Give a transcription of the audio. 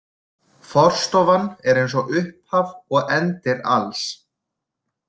Forstofan er eins og upphaf og endir alls.